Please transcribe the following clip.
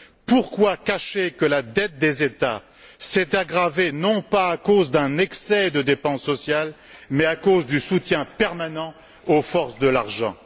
Pourquoi cacher que la dette des États s'est aggravée non pas à cause d'un excès de dépenses sociales, mais à cause du soutien permanent aux forces de l'argent?